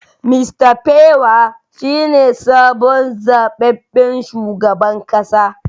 Mr pewar shine sabon zababben shugaban kasa